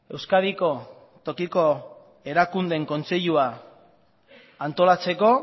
euskadiko tokiko erakundeen kontseilua antolatzeko